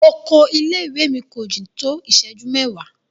Ọkọ ilé ìwé mi ko jin to àsìkò mẹwa.